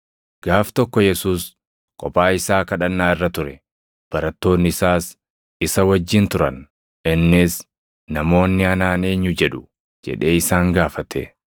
Gaaf tokko Yesuus kophaa isaa kadhannaa irra ture; barattoonni isaas isa wajjin turan. Innis, “Namoonni anaan eenyu jedhu?” jedhee isaan gaafate.